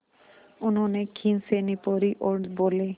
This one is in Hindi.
उन्होंने खीसें निपोरीं और बोले